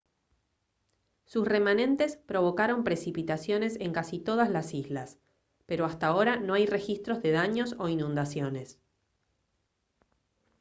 sus remanentes provocaron precipitaciones en casi todas las islas pero hasta ahora no hay registros de daños o inundaciones